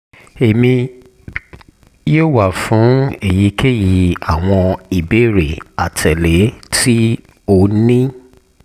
emi yoo wa fun eyikeyi awọn ibeere atẹle ti o ni